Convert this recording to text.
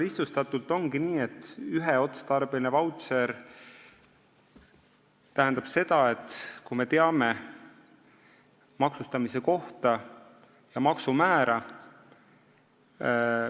Lihtsustatult öeldes, on olemas üheotstarbeline vautšer, mis tähendab seda, et me teame maksustamise kohta ja maksumäära.